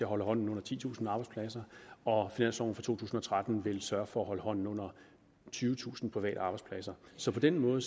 holde hånden under titusind arbejdspladser og finansloven for to tusind og tretten vil sørge for at holde hånden under tyvetusind private arbejdspladser så på den måde